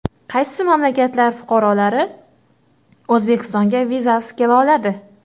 Qaysi mamlakatlar fuqarolari O‘zbekistonga vizasiz kela oladi?.